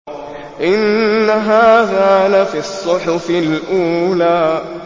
إِنَّ هَٰذَا لَفِي الصُّحُفِ الْأُولَىٰ